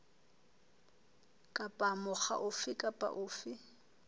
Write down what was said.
kapa mokga ofe kapa ofe